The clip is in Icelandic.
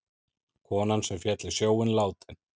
Konan sem féll í sjóinn látin